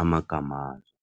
amagamazo.